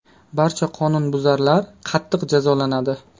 Barcha qonunbuzarlar qattiq jazolanadi.